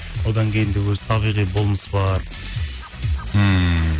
одан кейін де өз табиғи болмыс бар ммм